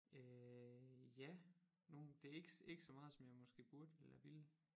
Øh ja nogen det ikke ikke så meget som jeg måske burde eller ville